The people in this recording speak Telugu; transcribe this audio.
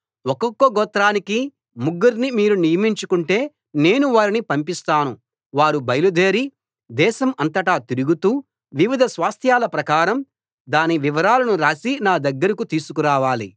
ఒక్కొక్క గోత్రానికి ముగ్గుర్ని మీరు నియమించుకుంటే నేను వారిని పంపిస్తాను వారు బయలుదేరి దేశం అంతటాతిరుగుతూ వివిధ స్వాస్థ్యాల ప్రకారం దాని వివరాలను రాసి నా దగ్గరికి తీసుకురావాలి